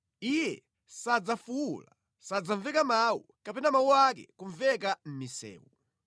Iye sadzafuwula, sadzamveka mawu, kapena mawu ake kumveka mʼmisewu.